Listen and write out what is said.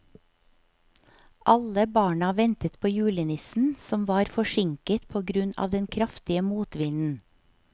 Alle barna ventet på julenissen, som var forsinket på grunn av den kraftige motvinden.